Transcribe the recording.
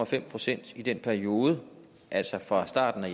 fem procent i den periode altså fra starten af